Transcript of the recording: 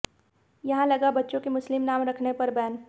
यहां लगा बच्चों के मुस्लिम नाम रखने पर बैन